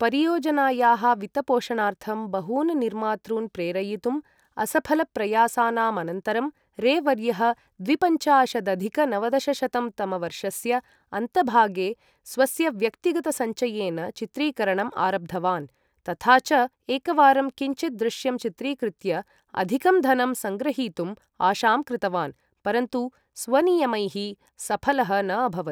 परियोजनायाः वित्तपोषणार्थं बहून् निर्मातॄन् प्रेरयितुं असफलप्रयासानां अनन्तरं, रे वर्यः द्विपञ्चाशदधिक नवदशशतं तमवर्षस्य अन्तभागे स्वस्य व्यक्तिगतसञ्चयेन चित्रीकरणम् आरब्धवान्, तथा च एकवारं किञ्चित् दृश्यं चित्रीकृत्य अधिकं धनं सङ्ग्रहीतुम् आशां कृतवान्, परन्तु स्वनियमैः सफलः न अभवत्।